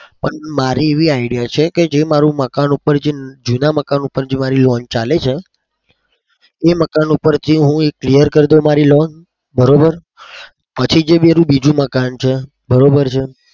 પણ મારી એવી idea છે કે જે મારું મકાન ઉપર જે જેના મકાન ઉપર મારી loan ચાલે છે એ મકાન ઉપરથી હું clear કર દઉં મારી loan. પછી મારે જે બીજું મકાન છે બરોબર છે?